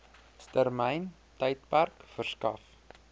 termyn tydperk verskaf